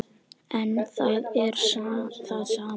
En þar er það sama.